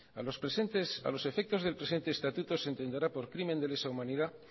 a los efectos del presente estatuto se entenderá por crimen de lesa humanidad